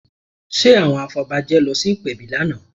Ṣe àwọn afọbajẹ lọ sí ìpèbí lánàá?